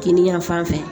Kinin yan fan fɛ